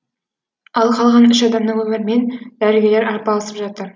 ал қалған үш адамның өмірімен дәрігерлер арпалысып жатыр